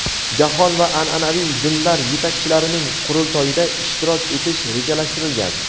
Jahon va anʼanaviy dinlar yetakchilarining qurultoyida ishtirok etish rejalashtirilgan.